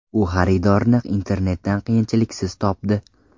U xaridorni internetdan qiyinchiliksiz topdi.